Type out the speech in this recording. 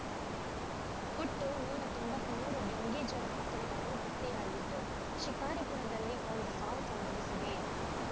ಒಟ್ಟು ನೂರ ತೊಂಬತ್ತ್ ಮೂರು ಡೆಂಘೀಜ್ವರ ಪ್ರಕರಣಗಳು ಪತ್ತೆಯಾಗಿದ್ದು ಶಿಕಾರಿಪುರದಲ್ಲಿ ಒಂದು ಸಾವು ಸಂಭವಿಸಿದೆ